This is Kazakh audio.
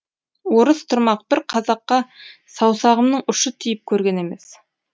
орыс тұрмақ бір қазаққа саусағымның ұшы тиіп көрген емес